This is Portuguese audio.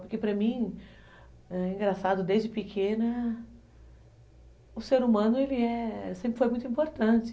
Porque, para mim, é engraçado, desde pequena, o ser humano, ele é, sempre foi muito importante.